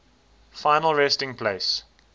final resting place